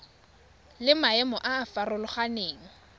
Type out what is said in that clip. le maemo a a farologaneng